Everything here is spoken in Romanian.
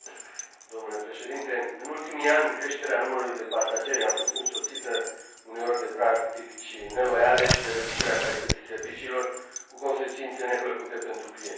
Domnule președinte, în ultimii ani, creșterea numărului de pasageri a fost însoțită uneori de practici neloiale și de reducerea calității serviciilor, cu consecințe neplăcute pentru clienți.